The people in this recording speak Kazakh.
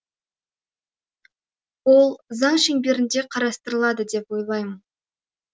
ол заң шеңберінде қарастырылады деп ойлаймын